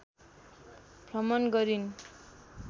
भ्रमण गरिन्।